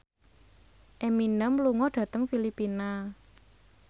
Eminem lunga dhateng Filipina